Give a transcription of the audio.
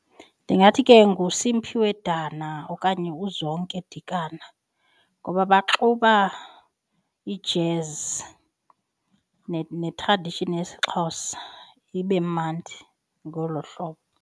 Ndingathi ke nguSimphiwe Dana okanye uZonke Dikana ngoba baxuba ijezi ne-tradition yesiXhosa ibe mandi ngolo hlobo.